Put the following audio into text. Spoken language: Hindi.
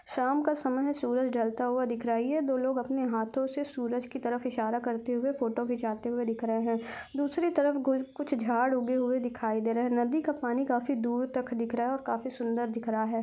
शाम का समय है सूरज ढलता हुआ दिख रहा है ये दो लोग अपने हाथों से सूरज की तरफ़् इशारा करते हुए फोटो खींचाते हुए दिख रहे हैं दूसरे तरफ घु कुछ झाड़ उगे हुए दिखाई दे रहे हैं नदी का पानी कफ़ी दूर तक दिख रहा है काफ़ी सुंदर दिख रहा है।